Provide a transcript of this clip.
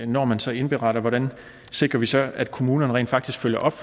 når man så indberetter hvordan sikrer vi så at kommunerne rent faktisk følger op